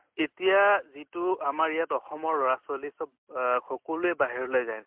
এতিয়া যিটো আমাৰ ইয়াত অসমৰ লʼৰা ছোৱালী চব অহ সকলোৱে বাহিৰলৈ যায়